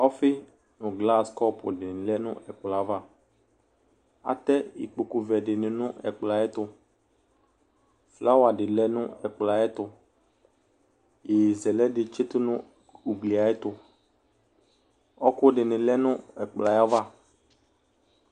Ɔfi nu glas kɔpu ni yadu nɛkpɔɛ'avaAtɛ ikpoku vɛ dini nʋ ɛkplɔɛ ayɛtuFlawa di lɛ nʋ ɛkplɔɛ ayɛtuYeye zɛlɛ di tsitu nʋ uglie ayɛtuƆɔkʋ dini lɛ nʋ ɛkplɔɛ ayava